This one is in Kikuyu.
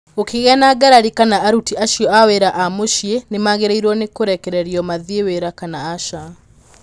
Gũkĩgĩa na ngarari kana aruti acio a wĩra a mũciĩ nĩ magĩrĩirwo nĩ kũrekererio mathiĩ wĩra kana aca.